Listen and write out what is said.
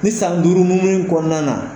Ni san duuru bu mun kɔnɔna na